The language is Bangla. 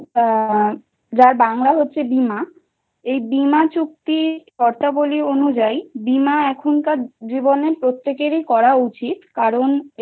insurance আ যার বাংলা হচ্ছে বিমা এই বিমা চুক্তির শর্তাবলী অনুযায়ী বিমা এখনকার জীবনে প্রত্যেকেরই করা উচিত।